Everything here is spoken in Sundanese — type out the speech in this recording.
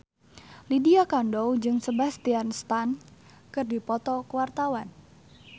Lydia Kandou jeung Sebastian Stan keur dipoto ku wartawan